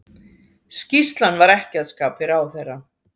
Skýrslan var ekki að skapi ráðherra